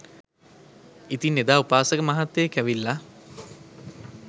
ඉතින් එදා උපාසක මහත්තයෙක් ඇවිල්ලා